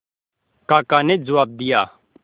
काका ने जवाब दिया